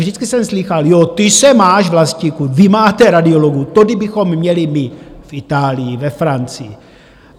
Vždycky jsem slýchal: Jo, ty se máš, Vlastíku, vy máte radiologů, to kdybychom měli my v Itálii, ve Francii.